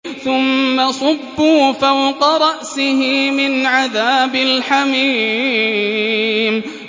ثُمَّ صُبُّوا فَوْقَ رَأْسِهِ مِنْ عَذَابِ الْحَمِيمِ